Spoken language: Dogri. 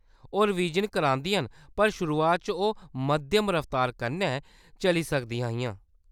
ओह्‌‌ रवीज़न करांदियां न पर शुरुआत च ओह्‌‌ मद्धम रफ्तार कन्नै चली सकदियां हियां।